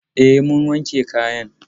E, mun wanke kayan.